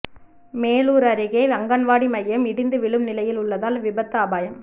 மேலூா் அருகே அங்கன்வாடி மையம் இடிந்து விழும் நிலையில் உள்ளதால் விபத்து அபாயம்